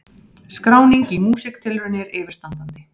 Skráning í Músíktilraunir yfirstandandi